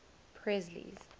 presley's